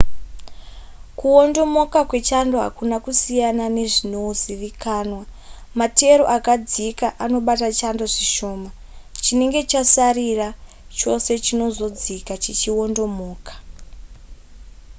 kuwondomoka kwechando hakuna kusiyana nezvinozivikanwa materu akadzika anobata chando zvishoma chinenge chasarira chose chinozodzika chichiwondomoka